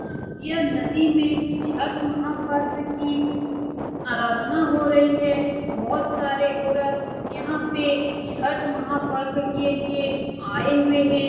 अ यह नदी में छठ महापर्व की आराधना हो रही है बहुत सारे औरत यहां पे छठ महापर्व के लिए आए हुए हैं।